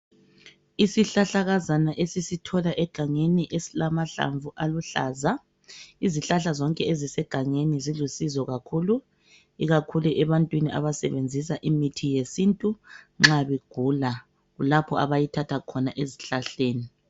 Isihlahlakazana esisithola egangeni esilamahlamvu aluhlaza izihlahla zonke ezisegangeni zilusizo kakhulu ikakhulu ebantwini abasebenzisa imithi yesintu nxa begula kulapho abayithatha ezihlahleni